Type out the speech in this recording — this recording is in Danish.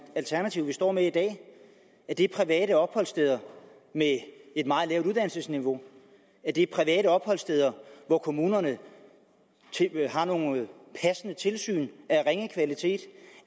alternativ vi står med i dag er det private opholdssteder med et meget lavt uddannelsesniveau er det private opholdssteder hvor kommunerne har nogle passende tilsyn af ringe kvalitet